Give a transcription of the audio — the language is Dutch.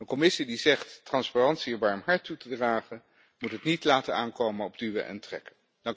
Een Commissie die zegt transparantie een warm hart toe te dragen, moet het niet laten aankomen op duwen en trekken.